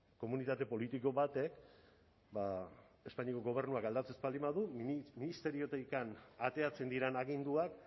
komunitate politiko batek ba espainiako gobernuak aldatzen ez baldin badu nik ministeriotik ateratzen diren aginduak